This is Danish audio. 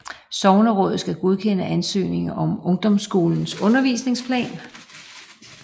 Sognerådet skal godkende ansøgningen om ungdomsskolens undervisningsplan